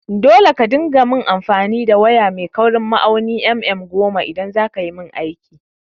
Dole ka dinga main amfani da waya mai kaurin ma'aunin mm goma idaj zakayi min aiki!